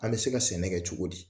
An bɛ se ka sɛnɛ kɛ cogo di